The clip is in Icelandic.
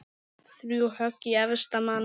Þrjú högg í efsta mann.